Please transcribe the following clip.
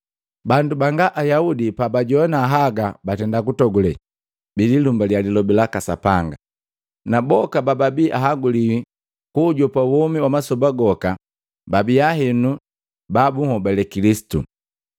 Bandu banga Ayaudi pabajoana haga batenda kutogule, bilimbalia lilobi laka Sapanga, na boka bababi ahaguliwi kuujopa womi wa masoba goka, babia henu ba bunhobale Kilisitu.